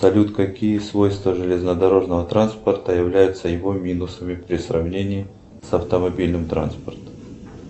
салют какие свойства железнодорожного транспорта являются его минусами при сравнении с автомобильным транспортом